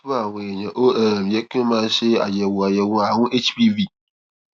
fún àwọn èèyàn ó um yẹ kí wón máa ṣe àyèwò àyèwò àrùn hpv